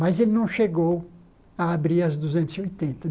Mas ele não chegou a abrir as duzentas e oitenta.